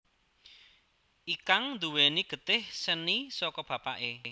Ikang nduwèni getih seni saka bapaké